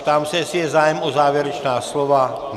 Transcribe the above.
Ptám se, jestli je zájem o závěrečná slova.